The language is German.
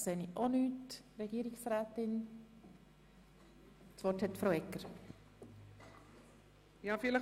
Wird das Wort von Einzelsprecherinnen oder -sprechern gewünscht?